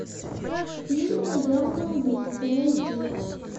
фильм наемный убийца найди